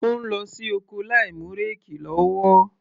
Ó ń lọ sí oko láìmú réèkì lọ́wọ́.